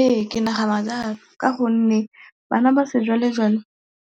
Ee, ke nagana jalo ka gonne bana ba sejwalejwale